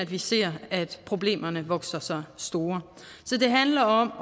vi ser problemerne vokse sig store så det handler om